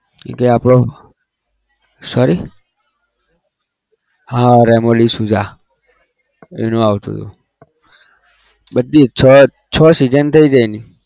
એ કઈ આપણો sorry હા રેમો ડિસુઝા એનું આવતુ હતું. બઘી છ છ season થઇ છે એની